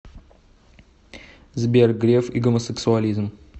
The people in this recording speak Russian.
сбер греф и гомосексуализм